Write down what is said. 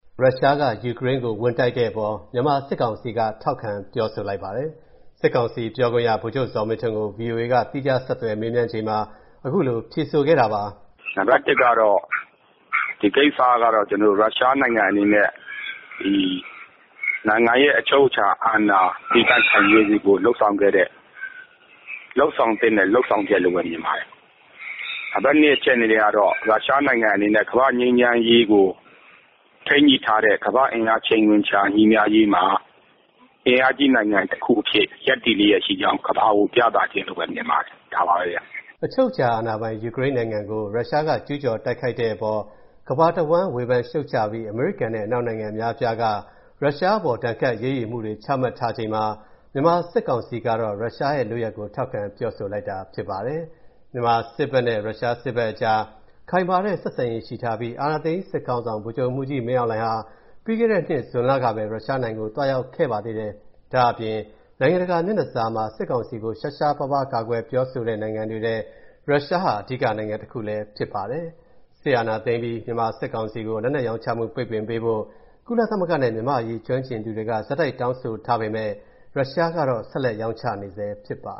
ရုရှားက ယူကရိန်းကိုဝင်တိုက်တဲ့အပေါ် မြန်မာစစ်ကောင်စီက ထောက်ခံပြောဆိုပါတယ်။ စစ်ကောင်စီပြောခွင့်ရ ဗိုလ်ချုပ်ဇော်မင်းထွန်းကို ဗွီအိုအေက သီးခြားဆက်သွယ်မေးမြန်းချိန်မှာ အခုလို ဖြေဆိုခဲ့တာပါ။ “နံပါတ် ၁ ကတော့ ဒီကိစ္စကတော့ ရုရှားနိုင်ငံအနေနဲ့ နိုင်ငံရဲ့အချုပ်အခြာအာဏာ တည်တံ့ခိုင်မြဲစေဖို့ လုပ်ဆောင်ခဲ့တဲ့၊ လုပ်ဆောင်သင့်တဲ့ လုပ်ဆောင်ချက်လို့ပဲ မြင်ပါတယ်။ နံပါတ် ၂ အနေနဲ့ကတော့ ရုရှားနိုင်ငံအနေနဲ့ ကမ္ဘာ့ငြိမ်းချမ်းရေးကို ထိန်းညှိထားတဲ့ ကမ္ဘာ့ချိန်ခွင်လျှာညီမျှရေးမှာ အင်အားကြီးနိုင်ငံတခုအဖြစ် ရပ်တည်လျက်ရှိကြောင်း ကမ္ဘာကိုပြသခြင်းမြင်ပါတယ်။” အချုပ်အခြာအာဏာပိုင် ယူကရိန်းနိုင်ငံကို ရုရှားကကျူးကျော်တိုက်ခိုက်တဲ့အပေါ် ကမ္ဘာတဝန်းဝေဖန်ရှုတ်ချပြီး အမေရိကန်နဲ့အနောက်နိုင်ငံအများအပြားက ရုရှားအပေါ် ဒဏ်ခတ်အရေးယူမှုတွေချမှတ်ထားချိန်မှာ မြန်မာစစ်ကောင်စီကတော့ ရုရှားရဲ့လုပ်ရပ်ကို ထောက်ခံပြောဆိုလိုက်တာဖြစ်ပါတယ်။ မြန်မာစစ်ဘက်နဲ့ ရုရှားစစ်ဘက်အကြား ခိုင်မာတဲ့ဆက်ဆံရေးရှိထားပြီး အာဏာသိမ်းစစ်ခေါင်းဆောင် ဗိုလ်ချုပ်မှူးကြီး မင်းအောင်လှိုင်ဟာ ပြီးခဲ့တဲ့နှစ် ဇွန်လကပဲ ရုရှားနိုင်ငံကို သွားရောက်ခဲ့ပါသေးတယ်။ ဒါ့အပြင် နိုင်ငံတကာမျက်နှာစာမှာ စစ်ကောင်စီကို ရှားရှားပါးပါး ကာကွယ်ပြောဆိုတဲ့နိုင်ငံတွေထဲ ရုရှားဟာ အဓိကနိုင်ငံတခုဖြစ်ပါတယ်။ စစ်အာဏာသိမ်းအပြီး စစ်ကောင်စီကို လက်နက်ရောင်းချမူပိတ်ပင်ပေးဖို့ ကုလသမဂ္ဂနဲ့ မြန်မာ့အရေးကျွမ်းကျင်သူတွေက ဆက်တိုက်တောင်းဆိုထားပေမယ့် ရုရှားဘက်ကတော့ ဆက်လက်ရောင်းချနေဆဲဖြစ်ပါ